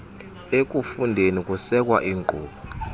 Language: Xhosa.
ekufundeni kusekwa iinkqubo